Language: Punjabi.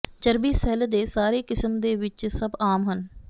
ਚਰਬੀ ਸੈੱਲ ਦੇ ਸਾਰੇ ਕਿਸਮ ਦੇ ਵਿੱਚ ਸਭ ਆਮ ਹਨ